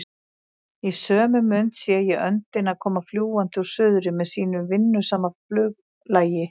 Í sömu mund sé ég öndina koma fljúgandi úr suðri með sínu vinnusama fluglagi.